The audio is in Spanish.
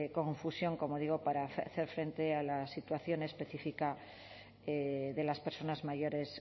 confusión como digo para hacer frente a la situación específica de las personas mayores